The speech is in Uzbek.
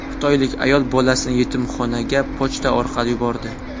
Xitoylik ayol bolasini yetimxonaga pochta orqali yubordi.